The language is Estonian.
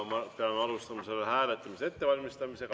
Ja alustame selle hääletamise ettevalmistamist.